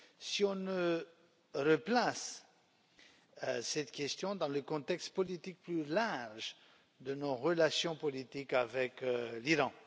si on ne replace pas cette question dans le contexte politique plus large de nos relations politiques avec l'Iran.